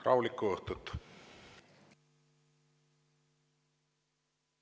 Rahulikku õhtut!